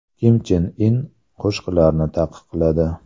Kim Chen In qo‘shiqlarni taqiqladi.